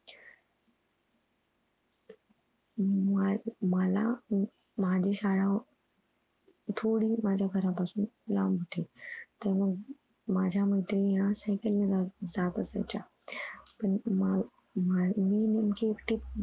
हम्म मला मला माझी शाळा थोडी माझ्या घरा पासून लांब होती. तर मग माझ्या मैत्रिणी ह्या सायकल ने जात असायच्या. पण आह मी नेमकी एकटी